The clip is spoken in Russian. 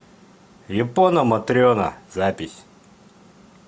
япона матрена запись